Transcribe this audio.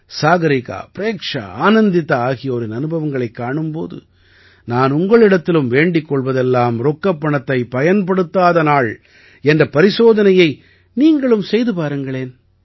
சாகரிகா பிரேக்ஷா ஆனந்திதா ஆகியோரின் அனுபவங்களைக் காணும் போது நான் உங்களிடத்திலும் வேண்டிக் கொள்வதெல்லாம் ரொக்கப் பணத்தைப் பயன்படுத்தாத நாள் என்ற பரிசோதனையை நீங்களும் செய்து பாருங்களேன்